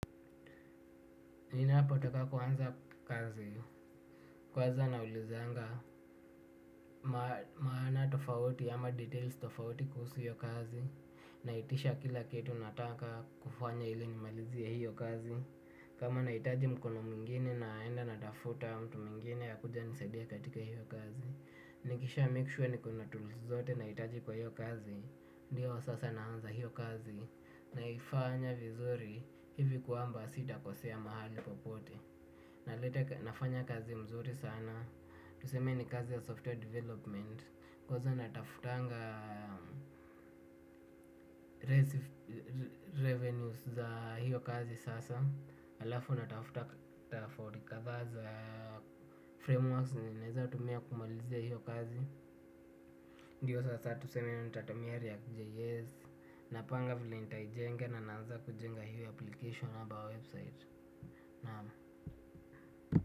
Ninapotoka kwanza kazi, kwaza naulizanga, maana tofauti ama details tofauti kuhusu hio kazi naitisha kila kitu nataka kufanya ili nimalizie hio kazi kama nahitaji mkono mwingine naenda natafuta mtu mwingine akuje anisaidia katika hiyo kazi nikishamake sure nikona tools zote nahitaji kwa hio kazi ndiyo sasa naanza hiyo kazi, naifanya vizuri hivi kwamba sita kosea mahali popote. Nafanya kazi mzuri sana tuseme ni kazi ya software development kwanza natafutanga licence revenues za hiyo kazi sasa. Alafu natafuta taa ya fordi kadha za frameworks yenye naeza tumia kumalizia hiyo kazi. Ndiyo sasa tuseme nitatumia KJS. Napanga vile nitaijenga nanaaza kujenga hiyo application ama website. Naam.